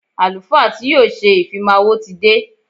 Àlùfáà tí yóò ṣe ìfimáwo ti dé.